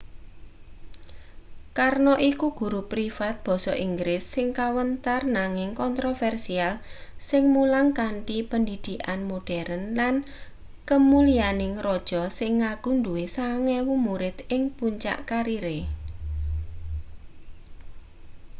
karno iku guru privat basa inggris sing kawentar nanging kontroversial sing mulang kanthi pendhidhikan moderen lan kemulyaning raja sing ngaku duwe 9,000 murid ing puncak karire